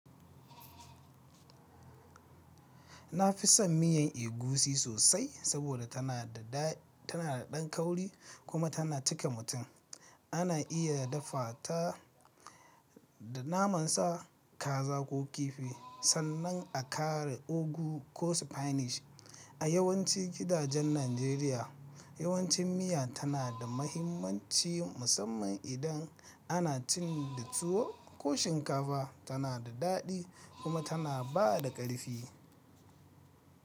Nafi son miyan egusi sosai saboda tana da daɗan kauri kuma tana cika mutum. Ana iya dafa ta da naman sa, kaza ko kifi sannan a ƙara ugu ko spinach. A yawancin gidajen Najeriya, yawancin miya tana da mahimmanci musamman idan ana cin da tuwo ko shinkafa. Tana da daɗi kuma tana ba da ƙarfi.